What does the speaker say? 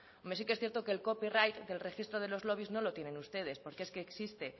hombre sí que es cierto que el copyright del registro de los lobbys no lo tienen ustedes porque es que existe